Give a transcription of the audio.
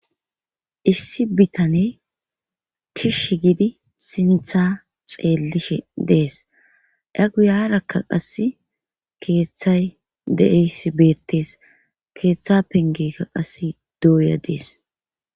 Issi bitane kish gidi sinththa xeellishe dees aa guyarakka qasse keeththay deeys beettes keeththa pengekka qasse douya dees